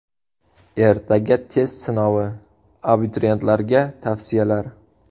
Ertaga test sinovi: abituriyentlarga tavsiyalar.